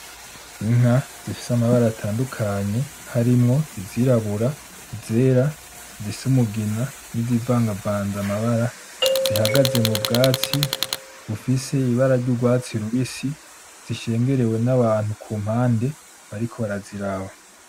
Inka zifise amabara atandukanye, harimwo izirabura, izera, zifise umugina, n'izivagavanze amabara zihagaze mu bwatsi bufise ibara ry'urwatsi rubisi zishengerewe nabantu kumpande bariko baraziraba.